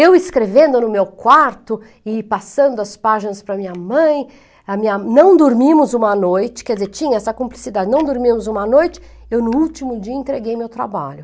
Eu escrevendo no meu quarto e passando as páginas para minha mãe, a minha, não dormimos uma noite, quer dizer, tinha essa cumplicidade, não dormimos uma noite, eu no último dia entreguei meu trabalho.